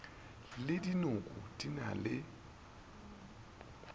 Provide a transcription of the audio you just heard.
le dinoko di na le